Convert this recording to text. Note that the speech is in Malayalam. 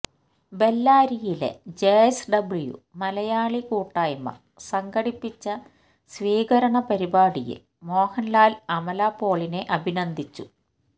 ബെല്ലാരിയിലെ ജെഎസ്ഡബ്ല്യു മലയാളി കൂട്ടായ്മ സംഘടിപ്പിച്ച സ്വീകരണ പരിപാടിയില് മോഹന്ലാല് അമല പോളിനെ അഭിനന്ദിച്ചു